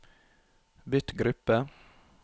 bytt gruppe